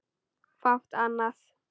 Fátt annað.